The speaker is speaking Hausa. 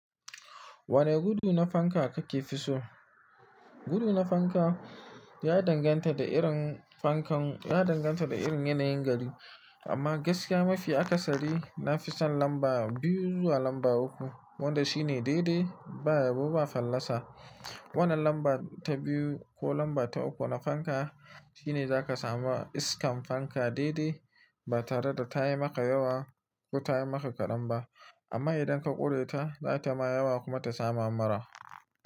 Wane gudu na fanka kake fi so? Gudu na fanka ya danganta da irin fankan, ya danganta da irin yanayin gari. Amma gaskiya mafi aka sari na fi son lamba biyu zuwa lamba uku. Wanda shi ne daidai ba yabo ba fallasa. Wannan lamba ta biyu ko lamba ta uku na fanka shine za ka samu iskan fanka daidai ba tare da ta yi maka yawa ko ta yi maka kaɗan ba. Amma idan ka ƙure ta, za ta ma yawa kuma ta sama mura.